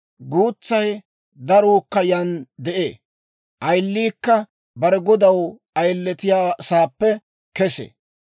Guutsay daruukka yaan de'ee; ayiliikka bare godaw ayilettiyaasaappe kesee.